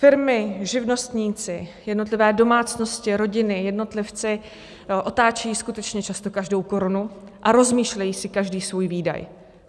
Firmy, živnostníci, jednotlivé domácnosti, rodiny, jednotlivci otáčejí skutečně často každou korunu a rozmýšlejí si každý svůj výdaj.